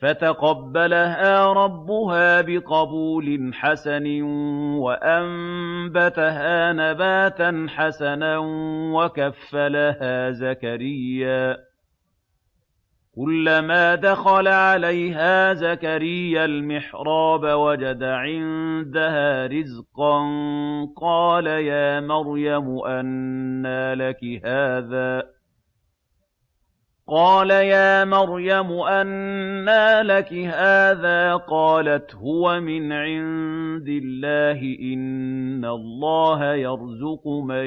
فَتَقَبَّلَهَا رَبُّهَا بِقَبُولٍ حَسَنٍ وَأَنبَتَهَا نَبَاتًا حَسَنًا وَكَفَّلَهَا زَكَرِيَّا ۖ كُلَّمَا دَخَلَ عَلَيْهَا زَكَرِيَّا الْمِحْرَابَ وَجَدَ عِندَهَا رِزْقًا ۖ قَالَ يَا مَرْيَمُ أَنَّىٰ لَكِ هَٰذَا ۖ قَالَتْ هُوَ مِنْ عِندِ اللَّهِ ۖ إِنَّ اللَّهَ يَرْزُقُ مَن